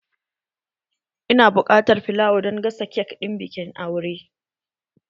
Ina buƙatar filawa don gasa kek ɗin bikin aure